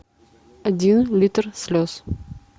один литр слез